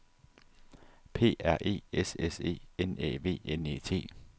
P R E S S E N Æ V N E T